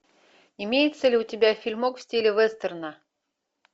имеется ли у тебя фильмок в стиле вестерна